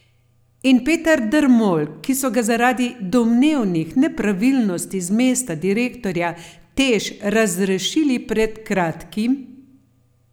In Peter Dermol, ki so ga zaradi domnevnih nepravilnosti z mesta direktorja Teš razrešili pred kratkim?